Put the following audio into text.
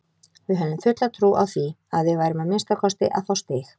Við höfðum fulla trú á því að við værum að minnsta kosti að fá stig.